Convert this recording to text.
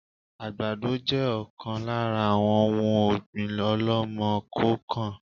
Àgbàdo jẹ ọ̀kan lára àwọn òun ọ̀gbín ọ̀lọ́mọ-kọọ-kan